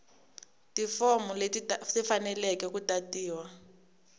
tifomu leti tifaneleke ku tatiwa